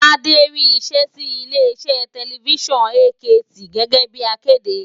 Tádé rí iṣẹ́ sí ilé iṣẹ́ tẹlifísàn AKT gẹ́gẹ́ bíi akéde